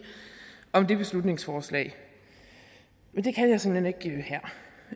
om det beslutningsforslag men